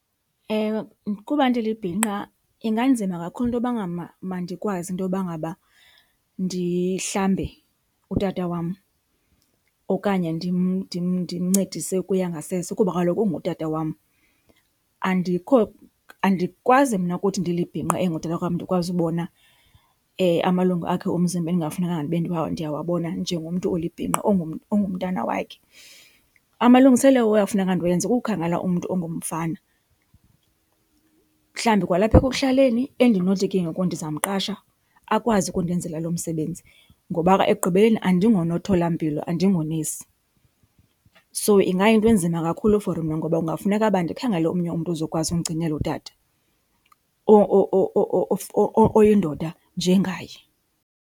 Kuba ndilibhinqa inganzima kakhulu into yoba ngaba mandikwazi intoba ngaba ndihlambe utata wam okanye ndimncedise ukuya ngasese kuba kaloku ungutata wam. Andikwazi mna ukuthi ndilibhinqa engutata wam ndikwazi ubona amalungu akhe omzimba ekungafunekanga ndibe ndihamba ndiyawabona njengomntu olibhinqa ongumntana wakhe. Amalungiselelo okuyafuneka ndiwenze kukukhangela umntu ongumfana, mhlawumbi kwalapha ekuhlaleni, endinothi ke ngoku ndizamqasha akwazi ukundenzela lo msebenzi ngoba ekugqibeleni andingonomtholampilo, andingonesi. So ingayinto enzima kakhulu for mna ngoba kungafuneka ba ndikhangele omnye umntu ozokwazi ukundigcinela utata oyindoda njengaye.